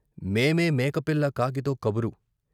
మే మే మేకపిల్ల కాకితో కబురు